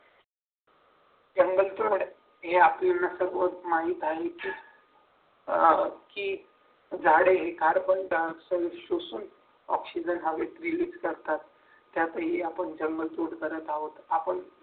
जंगल तोड. हे आपल्याला सर्व माहित आहे की की झाडे carbon die oxide शोषून ऑक्सिजन हवेत विलीन करतात त्यातही आपण जंगल तोडताना काय होतं